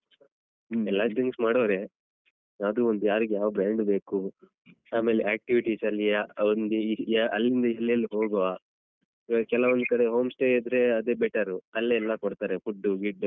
ಎಲ್ಲಾರು drinks ಮಾಡುವವರೇ ಆದ್ರೂ ಒಂದ್ ಯಾರಿಗೆ ಯಾವ ಬ್ರಾಂಡ್ brand ಬೇಕು ಆಮೇಲೆ activities ಅಲ್ಲಿ ಒಂದ್ ಅಲ್ಲಿಂದ ಎಲ್ಲೆಲ್ ಹೋಗುವ ಈವಾಗ್ ಕೆಲವೊಂದ್ ಕಡೆ home stay ಇದ್ರೆ ಅದೇ ಬೆಟ್ಟರು ಅಲ್ಲೇ ಎಲ್ಲಾ ಕೊಡ್ತಾರೆ food ಗಿಡ್ಡು.